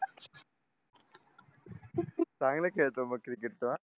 चांगला खेळतो मग cricket तो हा